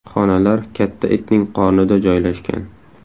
Xonalar katta itning qornida joylashgan.